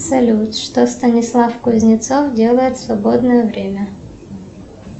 салют что станислав кузнецов делает в свободное время